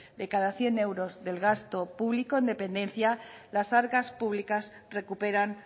de cada cien euros del gasto público en dependencia las arcas públicas recuperan